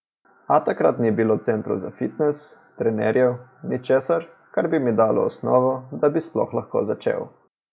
A takrat ni bilo centrov za fitnes, trenerjev, ničesar, kar bi mi dalo osnovo, da bi sploh lahko začel.